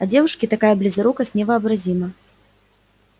а девушке такая близорукость невообразима